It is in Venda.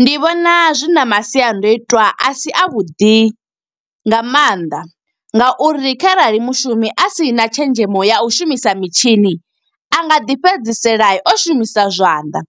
Ndi vhona zwi na masiandoitwa a si a vhuḓi nga mannḓa, nga uri kharali mushumi a si na tshenzhemo ya u shumisa mitshini. A nga ḓi fhedzisela o shumisa zwanḓa,